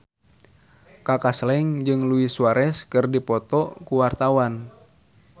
Kaka Slank jeung Luis Suarez keur dipoto ku wartawan